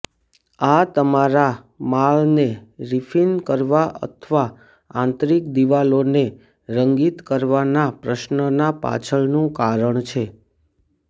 આ તમારા માળને રિફિન કરવા અથવા આંતરિક દિવાલોને રંગિત કરવાના પ્રશ્નના પાછળનું કારણ છે